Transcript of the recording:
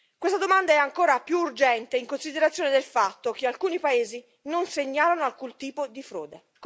Questa domanda è ancora più urgente in considerazione del fatto che alcuni paesi non segnalano alcun tipo di frode.